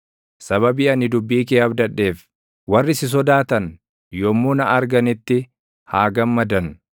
Sababii ani dubbii kee abdadheef, warri si sodaatan yommuu na arganitti haa gammadan.